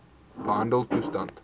behandeltoestande